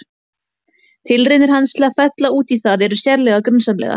Tilraunir hans til að fylla út í það eru sérlega grunsamlegar.